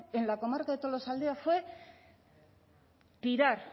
en la comarca de tolosaldea fue tirar